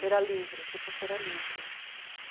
Feira livre, tipo feira livre.